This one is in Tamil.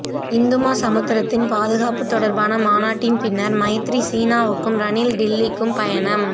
இந்துமா சமுத்திரத்தின் பாதுகாப்புத் தொடர்பான மாநாட்டின் பின்னர் மைத்திரி சீனாவுக்கும் ரணில் டில்லிக்கும் பயணம்